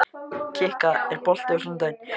Kikka, er bolti á sunnudaginn?